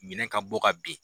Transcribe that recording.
Minɛn ka bɔ ka ben.